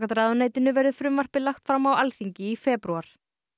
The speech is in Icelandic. ráðuneytinu verður frumvarpið lagt fram á Alþingi í febrúar